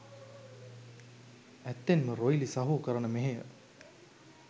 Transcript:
ඇත්තෙන්ම රොයිලි සහෝ කරන මෙහෙය